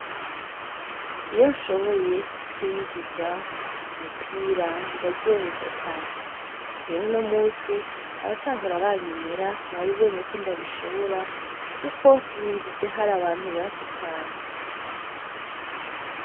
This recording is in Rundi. Iyo nshoboye kwinjiza umupira ndaryoherwa cane. Rero uno musi, abatahora banyemera babibonye ko ndabishobora kuko ninjije hari abantu benshi cane.